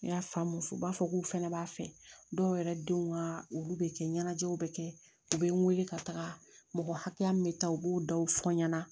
N y'a faamu muso b'a fɔ k'u fana b'a fɛ dɔw yɛrɛ denw ka olu bɛ kɛ ɲɛnajɛw bɛ kɛ u bɛ n wele ka taga mɔgɔ hakɛya min bɛ taa u b'o dɔw fɔ n ɲɛna